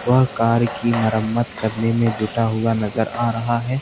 वह कार की मरम्मत करने में जुटा हुआ नजर आ रहा है।